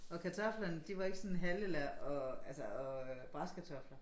Og kartoflerne de var ikke sådan halve eller og altså og øh brasekartofler